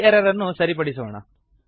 ಈ ಎರರ್ ಅನ್ನು ಸರಿಪಡಿಸೋಣ